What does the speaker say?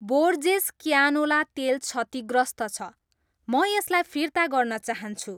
Borges canola तेल क्षतिग्रस्त छ, म यसलाई फिर्ता गर्न चाहन्छु।